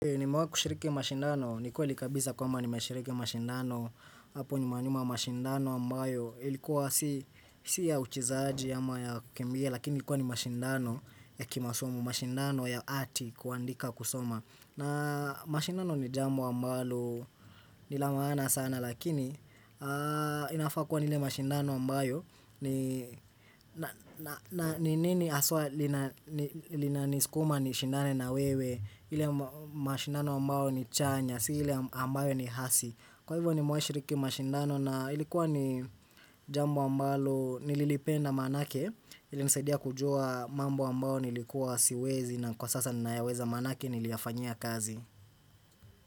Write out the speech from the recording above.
Ni mawa kushiriki mashindano, ni kwa likabisa kwa ma ni mashiriki mashindano. Apo nyumanyuma mashindano ambayo Ilikuwa. Si ya uchizaji ama ya kembie lakini kwa ni mashindano ya kimasomo mashindano ya ati kuandika kusoma na mashindano ni jamu ambalo nilamaana sana lakini Inafakuwa ni ile mashindano ambayo. Ni nini aswa linaniskuma ni shindane na wewe ile mashindano ambayo ni chanya Si hile ambayo ni hasi Kwa hivyo ni mwashiriki mashindano na ilikuwa ni jambo ambayo Nililipenda manake. Ile nisedia kujua mambo ambayo Nilikuwa siwezi na kwa sasa ninaweza manake niliafanyia kazi.